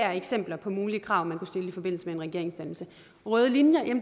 er eksempler på mulige krav man kunne stille i forbindelse med en regeringsdannelse og røde linjer